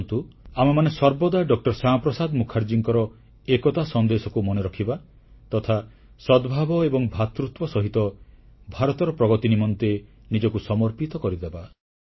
ଆସନ୍ତୁ ଆମେମାନେ ସର୍ବଦା ଡ ଶ୍ୟାମାପ୍ରସାଦ ମୁଖାର୍ଜୀଙ୍କର ଏକତା ସନ୍ଦେଶକୁ ମନେ ରଖିବା ତଥା ସଦ୍ଭାବ ଏବଂ ଭ୍ରାତୃତ୍ୱ ସହିତ ଭାରତର ପ୍ରଗତି ନିମନ୍ତେ ନିଜକୁ ସମର୍ପିତ କରିଦେବା